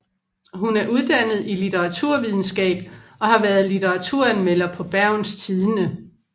Hun er uddannet i litteraturvidenskab og har været litteraturanmelder på Bergens Tidende